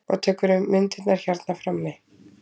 Og tekurðu myndirnar hérna frammi?